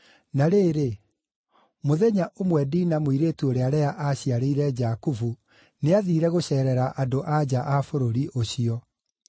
Na rĩrĩ, mũthenya ũmwe, Dina mũirĩtu ũrĩa Lea aaciarĩire Jakubu, nĩathiire gũceerera andũ-a-nja a bũrũri ũcio.